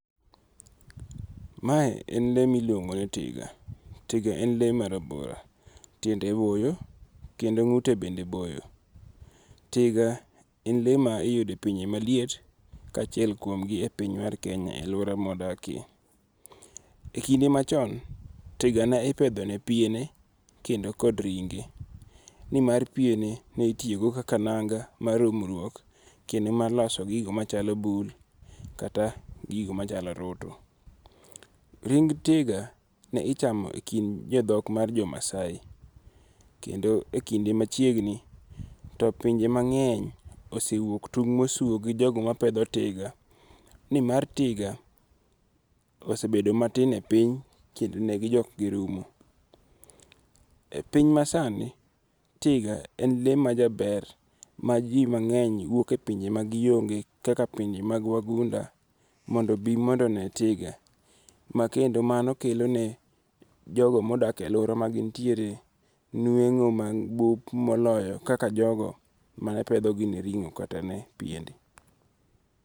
Mae en le mi iluongo ni tiga, tiga en le marabora tiende boyo kendo ngu'te bende boyo, tiga en le ma iyude e pinje maliet kachiel kuomgi e piny mar Kenya e aluora mawadakie, e kinde machon tiga ne ipethone piene kendo kod ringe' nimar piene nitiyogo kaka nanga mar umruok kendo mar loso gigo machalo bul kata gigo machalo orutu. Ring' tiga ne ichamo e kind jo thok mar jomasai kendo e kinde machiegni, to pinje mange'ny osewuok tung' mosuo gi jogo mapetho tiga ni mar tiga osebedo matin e piny kendo negijok girumo. E piny masani tiga en le majaber maji mange'ny wuoke pinje magionge' kaka pinje mag wagunda mondo bi mondo one tiga ma kendo mano kelone jogo modakie e aluora magin tiere nwengo' mabup moloyo kaka jogo mane pethogi gi ringo' kata ne piende.